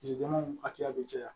hakɛya be caya